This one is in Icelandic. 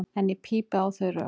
En ég pípi á þau rök.